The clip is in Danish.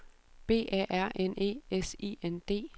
B A R N E S I N D